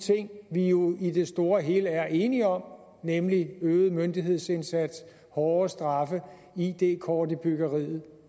vi jo i det store og hele er enige om nemlig øget myndighedsindsats hårdere straffe id kort i byggeriet